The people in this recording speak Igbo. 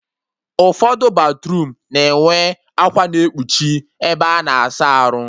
Ụfọdụ batruum na-enwe akwa na-ekpuchi ebe a na-asa arụ